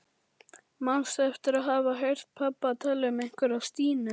Manstu eftir að hafa heyrt pabba tala um einhverja Stínu?